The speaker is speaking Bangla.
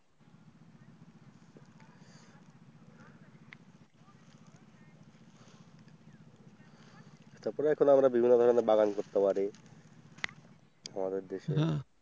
তারপরে এখনো আমরা বাগান করতে পারি, আমাদের দেশে।